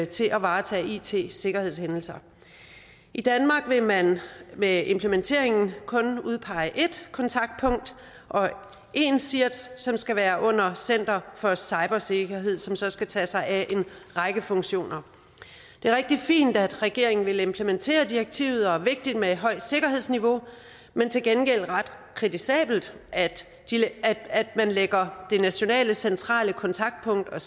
til at varetage it sikkerhedshændelser i danmark vil man med implementeringen kun udpege ét kontaktpunkt og én csirt som skal være under center for cybersikkerhed som så skal tage sig af en række funktioner det er rigtig fint at regeringen vil implementere direktivet og vigtigt med et højt sikkerhedsniveau men til gengæld ret kritisabelt at man lægger det nationale centrale kontaktpunkt og